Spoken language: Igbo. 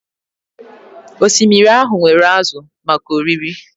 Osimiri ahụ nwere ázụ̀ maka oriri